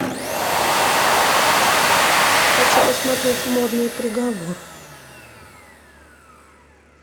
хочу посмотреть модный приговор